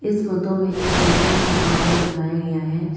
इस फोटो में एक साइकल दुकान को दिखाया गया है।